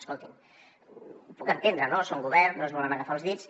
escoltin ho puc entendre no són govern no es volen agafar els dits